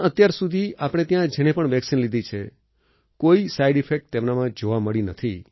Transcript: અત્યારસુધી આપણે ત્યાં જેણે પણ વેક્સિન લીધી છે કોઈ સાઈડ ઈફેક્ટ તેમનામાં જોવા મળી નથી